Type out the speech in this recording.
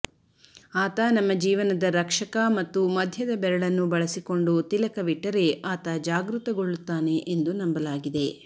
ಆತ ನಮ್ಮ ಜೀವನದ ರಕ್ಷಕ ಮತ್ತು ಮಧ್ಯದ ಬೆರಳನ್ನು ಬಳಸಿಕೊಂಡು ತಿಲಕವಿಟ್ಟರೆ ಆತ ಜಾಗೃತಗೊಳ್ಳುತ್ತಾನೆ ಎಂದು ನಂಬಲಾಗಿದೆ